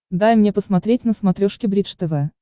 дай мне посмотреть на смотрешке бридж тв